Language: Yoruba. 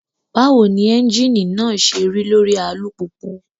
Báwo ni ẹ́ńjìnì náà ṣe rí lórí alùpùpù?